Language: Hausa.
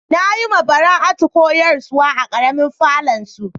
Na yi ma Bara'atu koyarswa a karemin falon su.